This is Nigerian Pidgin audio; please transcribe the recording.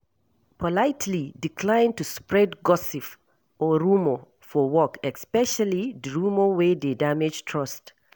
Politely decline to spread gossip or rumour for work especially di rumour wey dey damage trust